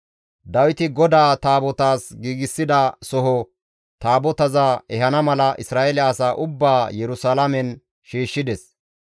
Dawiti GODAA Taabotaas giigsida soho Taabotaza ehana mala Isra7eele asaa ubbaa Yerusalaamen shiishshides.